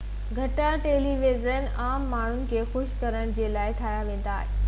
گهڻا television عام ماڻهن کي خوش ڪرڻ جي لاءِ ٺاهيا ويندا آهن